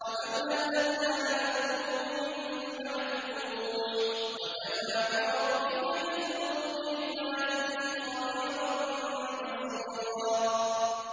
وَكَمْ أَهْلَكْنَا مِنَ الْقُرُونِ مِن بَعْدِ نُوحٍ ۗ وَكَفَىٰ بِرَبِّكَ بِذُنُوبِ عِبَادِهِ خَبِيرًا بَصِيرًا